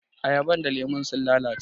Ayaban da lemun sun lalace.